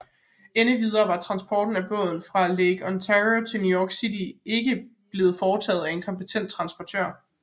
Endvidere var transporten af båden fra Lake Ontario til New York City ikke blevet foretaget af en kompetent transportør